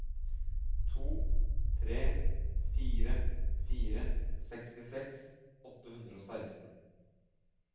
to tre fire fire sekstiseks åtte hundre og seksten